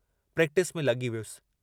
Practice में लगी वियुस।